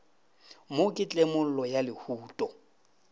mo ke tlemollo ya lehuto